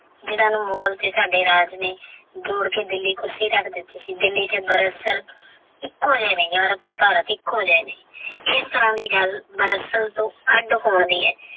ਜਿਨ੍ਹਾਂ ਨੂੰ ਮੁਗ਼ਲ ਤੇ ਸਾਡੇ ਰਾਜ ਦੀ ਕੁਰਸੀ ਤੱਕ ਦਿੱਤੀ ਸੀ ਦਿੱਲੀ ਤੇ ਇੱਕੋ ਜਿਹੇ ਨੇ ਅਰਬ ਤੇ ਭਾਰਤ ਇੱਕੋ ਜਿਹੇ ਨੇ ਐਸ ਤਰ੍ਹਾਂ ਦੀ ਗੱਲ ਤੋਂ ਅੱਡ ਅਖਵਾਉਂਦੀ ਹੈ।